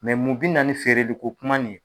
Mɛ munbi na ni feereli ko kuma ni ye.